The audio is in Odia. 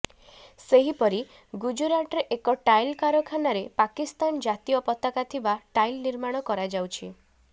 ସେହିପରେ ଗୁଜୁରାଟରେ ଏକ ଟାଇଲ କାରଖାନାରେ ପାକିସ୍ତାନ ଜାତୀୟ ପତାକା ଥିବା ଟାଇଲ୍ ନିର୍ମାଣ କରାଯାଉଛି